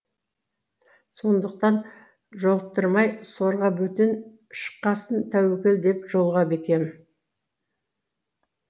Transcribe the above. сондықтан жолықтырмай сорға бөтен шыққасын тәуекел деп жолға бекем